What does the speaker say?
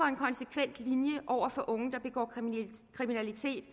en konsekvent linje over for unge der begår kriminalitet